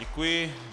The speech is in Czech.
Děkuji.